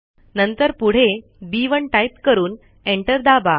नंतर पुढे B one type करून एंटर दाबा